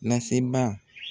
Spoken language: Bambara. Laseba